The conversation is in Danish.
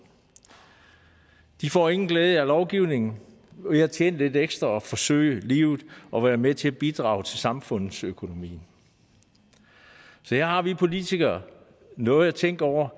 de får ingen glæde af lovgivningen ved at tjene lidt ekstra og forsøde livet og være med til at bidrage til samfundsøkonomien så her har vi politikere noget at tænke over